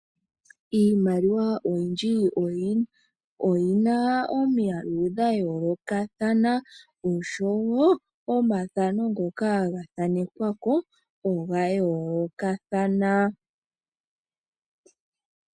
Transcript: Iimaliwa oyindji oyina omiyalu dha yoolokathana oshowo omathano ngoka ga thanekwako oga yoolokathana.